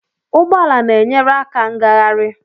Ụgbọ ala na-enyere aka ngagharị.